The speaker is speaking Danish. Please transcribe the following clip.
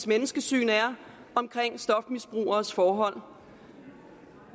menneskesyn er omkring stofmisbrugeres forhold